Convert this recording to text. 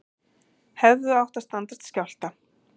Hefðu átt að standast skjálfta